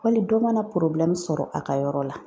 Wali dɔ mana sɔrɔ a ka yɔrɔ la